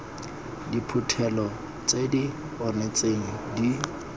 diphuthelo tse di onetseng di